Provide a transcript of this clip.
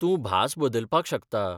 तूं भास बदलपाक शकता.